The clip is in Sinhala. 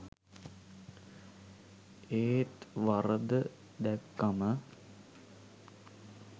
ඒත් වරද දැක්කම